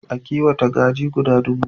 Ta kiwata kaji guda dubu.